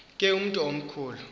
ke umntu omkhulu